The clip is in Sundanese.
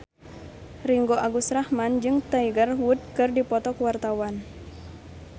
Ringgo Agus Rahman jeung Tiger Wood keur dipoto ku wartawan